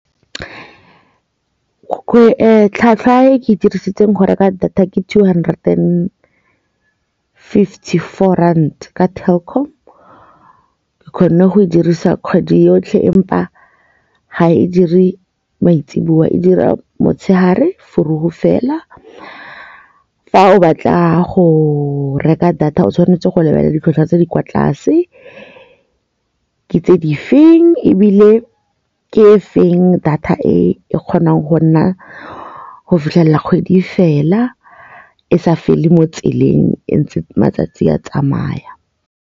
Tlhwatlhwa e dirisitseng go reka data ke two hundred and fifty-four rand ka Telkom ke kgone go e dirisa kgwedi yotlhe empa ga e dire maitsiboa e dira motshegare fela fa o batla go reka data o tshwanetse go lebelela ditlhwatlhwa tse di kwa tlase ke tse di feng ebile ke e feng data e kgonang go nna go fitlhelela kgwedi fela e sa fela mo tseleng ntse matsatsi a tsamaya.